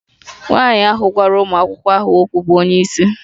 Nwanyị ahụ gwara ụmụ akwụkwọ ahụ okwu bụ onye isi